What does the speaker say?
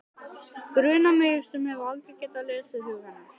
Grunar mig sem hef aldrei getað lesið hug hennar.